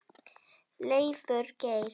Leifur Geir.